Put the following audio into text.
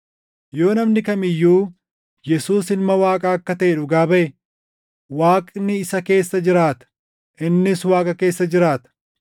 Yoo namni kam iyyuu Yesuus Ilma Waaqaa akka taʼe dhugaa baʼe, Waaqni isa keessa jiraata; innis Waaqa keessa jiraata.